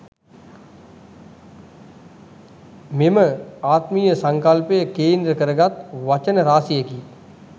මෙම ආත්මීය සංකල්පය කේන්ද්‍ර කරගත් වචන රාශියකි.